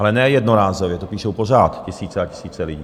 Ale ne jednorázově, to píšou pořád tisíce a tisíce lidí.